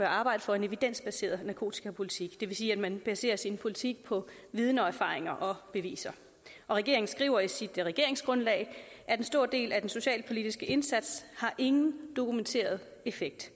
arbejde for en evidensbaseret narkotikapolitik det vil sige at man baserer sin politik på viden og erfaring og beviser regeringen skriver i sit regeringsgrundlag at en stor del af den socialpolitiske indsats ingen dokumenteret effekt